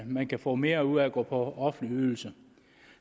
man kan få mere ud af at gå på offentlig ydelse